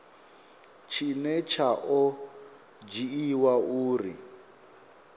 tshine tsha o dzhiiwa uri